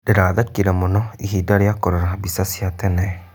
Ndĩrathekire mũno ihinda rĩa kũrora mbica cia tene.